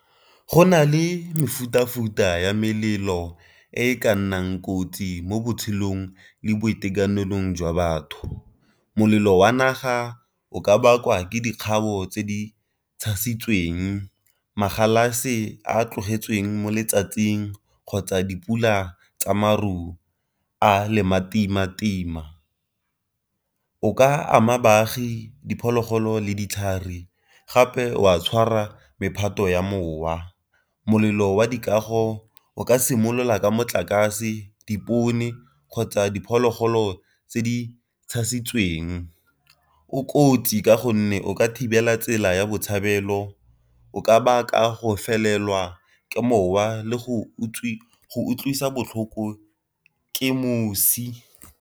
Go na le mefuta-futa ya melelo e ka nnang kotsi mo botshelong le boitekanelong jwa batho. Molelo wa naga o ka bakwa ke dikgabo tse di tshasitsweng, a tlogetsweng mo letsatsing kgotsa dipula tsa maru a . O ka ama baagi, diphologolo, le ditlhare gape wa tshwara mephato ya mowa. Molelo wa dikago o ka simolola ka motlakase, dipone, kgotsa diphologolo tse di tshasitsweng. O kotsi ka gonne o ka thibela tsela ya botshabelo o ka baka go fitlhelelwa ke mowa le go utlwisa botlhoko ke mosi.